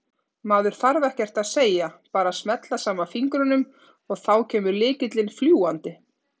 Maður þarf ekkert að segja, bara smella saman fingrunum og þá kemur lykillinn fljúgandi!